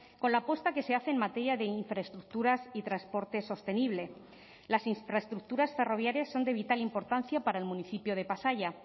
con la apuesta que se hace en materia de infraestructuras y transporte sostenible las infraestructuras ferroviarias son de vital importancia para el municipio de pasaia